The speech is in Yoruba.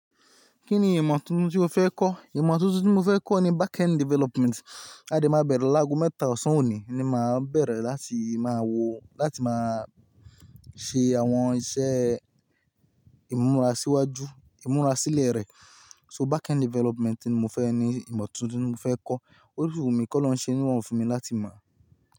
Kí ni ìmọ̀ tuntun tí o fẹ́ kọ́? Ìmọ̀ tuntun tí mo fẹ́ kọ́ ni backend development. A dè má bẹ̀rẹ̀ láàgò mẹ́ta ọ̀sán òní ni màá bẹ̀rẹ̀ láti máa wo láti máa ṣe àwọn iṣẹ́ ìmúra síwájú, ìmúra sílẹ̀ rẹ̀. So backend development ni mo fẹ́ ni ìmọ̀ tuntun tí mo fẹ́ kọ́. O si wu mi kọ́ Olorun ṣe ni irorun fún mi láti mọ̀